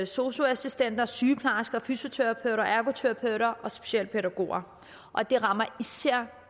sosu assistenter sygeplejersker fysioterapeuter ergoterapeuter og specialpædagoger og det rammer især